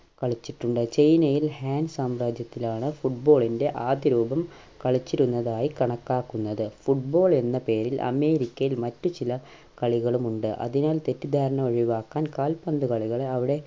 കളിച്ചിട്ടുണ്ട് ചൈനയിൽ ഹേൻ സാമ്രാജ്യത്തിലാണ് football ൻ്റെ ആദ്യ രൂപം കളിച്ചിരുന്നതായി കണക്കാക്കുന്നത് football എന്ന പേരിൽ അമേരിക്കയിൽ മറ്റു ചില കളികളുമുണ്ട് അതിനാൽ തെറ്റിദ്ധാരണ ഒഴിവാക്കാൻ കാൽപന്തുകളികളെ അവിടെ